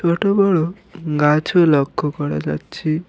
ছোট বড় গাছও লক্ষ করা যাচ্ছে।